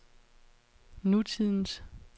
nutidens